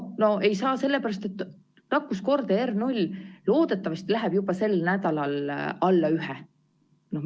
No ei saa sellepärast, et nakkuskordaja R0 loodetavasti läheb juba sel nädalal alla 1.